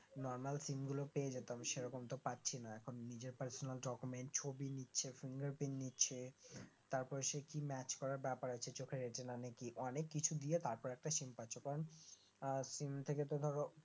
NormalSIM গুলো পেয়ে যেতাম সেরকম তো পাচ্ছিনা এখন নিজের Parsonal, document ছবি নিচ্ছে fingerprint নিচ্ছে তারপর সেই কি match করার ব্যাপার আছে চোখের retina নাকি অনেক কিছু দিয়ে তারপর একটা SIM পাচ্ছ কারণ আহ SIM থেকে তো ধরো